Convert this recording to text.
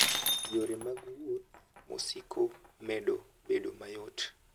Yore mag wuoth mosiko medo bedo mayot.